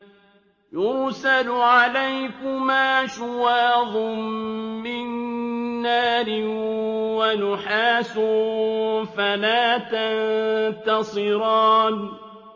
يُرْسَلُ عَلَيْكُمَا شُوَاظٌ مِّن نَّارٍ وَنُحَاسٌ فَلَا تَنتَصِرَانِ